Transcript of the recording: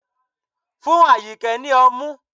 Fún Ayinke ni ọmú